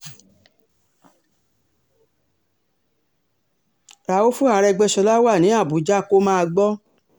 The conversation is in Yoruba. ràùfù àrègbèsọlá wa ní àbújá kó máa gbó